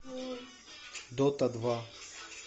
дота два